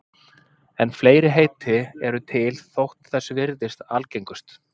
en fleiri heiti eru til þótt þessi virðist algengust